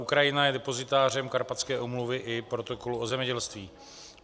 Ukrajina je depozitářem Karpatské úmluvy i protokolu o zemědělství.